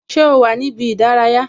Ṣé o wà ní ibi ìdárayá?